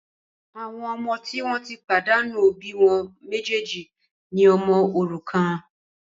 Àwọn ọmọ tí wọn tí pàdánù òbí wọn méjèjì ní ọmọ òrukàn